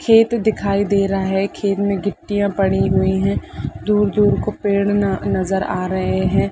खेत दिखाई दे रहा है खेत में गिट्टिया पड़ी हुई है दूर-दूर को पेड़ न नज़र आ रहै हैं।